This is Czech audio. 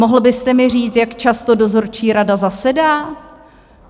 Mohl byste mi říct, jak často dozorčí rada zasedá?